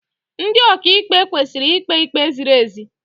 Ndị ọkaịkpe kwesịrị ikpe ikpe ziri ezi.